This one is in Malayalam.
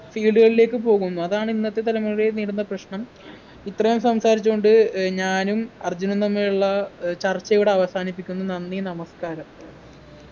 field കളിലേക്ക് പോകുന്നു അതാണ് ഇന്നത്തെ തലമുറ നേരിടുന്ന പ്രശ്നം ഇത്രയും സംസാരിച്ചു കൊണ്ട് ഏർ ഞാനും അർജുനും തമ്മിലുള്ള ഏർ ചർച്ചയിവിടെ അവസാനിപ്പിക്കുന്നു നന്ദി നമസ്കാരം